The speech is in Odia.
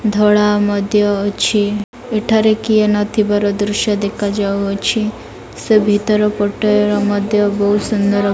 ଧଳା ମଧ୍ୟ ଅଛି। ଏଠାରେ କିଏ ନଥିବାର ଦୃଶ୍ୟ ଦେଖାଯାଉଅଛି। ସେ ଭିତର ପଟେ ମଧ୍ୟ ବହୁତ ସୁନ୍ଦର --